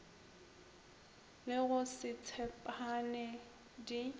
le go se tshepane di